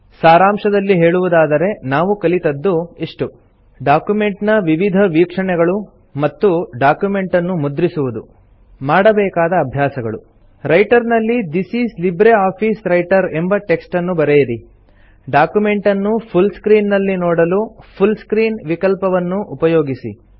ಸಾರಾಂಶದಲ್ಲಿ ಹೇಳುವುದಾದರೆ ನಾವು ಕಲಿತದ್ದು ಇಷ್ಟು ಡಾಕ್ಯುಮೆಂಟ್ ನ ವಿವಿಧ ವೀಕ್ಷಣೆಗಳು ಮತ್ತು ಡಾಕ್ಯುಮೆಂಟ್ ಅನ್ನು ಮುದ್ರಿಸುವುದು ಮಾಡಬೇಕಾದ ಅಭ್ಯಾಸಗಳು160 ರೈಟರ್ ನಲ್ಲಿ this is libre office writer ಎಂಬ ಟೆಕ್ಸ್ಟ್ ಅನ್ನು ಬರೆಯಿರಿ ಡಾಕ್ಯುಮೆಂಟ್ ಅನ್ನು ಫುಲ್ ಸ್ಕ್ರೀನ್ ನಲ್ಲಿ ನೋಡಲು ಫುಲ್ ಸ್ಕ್ರೀನ್ ವಿಕಲ್ಪವನ್ನು ಉಪಯೋಗಿಸಿ